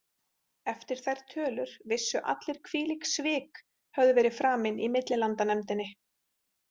Eftir þær tölur vissu allir hvílík svik höfðu verið framin í millilandanefndinni.